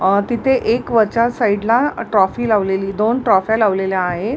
अ तिथं एक वरच्या साईड ला ट्रॉफी लावलेली दोन ट्रॉफ्या लावलेल्या आहेत.